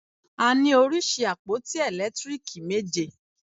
A ní oríṣi àpótí ẹ̀lẹ́tíríìkì méje.